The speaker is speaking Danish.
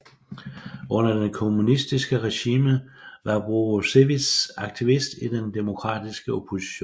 Under det kommunistiske regime var Borusewicz aktivist i den demokratiske opposition